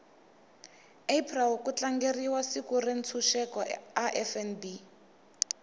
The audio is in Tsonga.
april kutlangeriwa siku rentshuseko a fnb